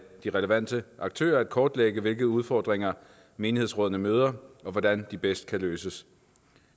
relevante aktører at kortlægge hvilke udfordringer menighedsrådene møder og hvordan de bedst kan løses